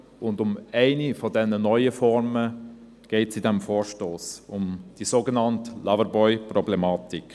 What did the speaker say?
Um eine dieser neuen Formen geht es in diesem Vorstoss, nämlich um die sogenannte Loverboy-Problematik.